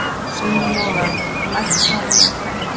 Sigurlogi, lækkaðu í græjunum.